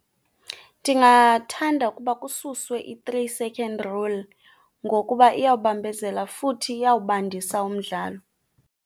Ndingathanda ukuba kususwe i-three second rule ngokuba iyawubambezela futhi iyawubandisa umdlalo.